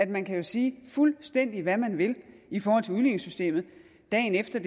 man kan sige fuldstændig hvad man vil i forhold til udligningssystemet dagen efter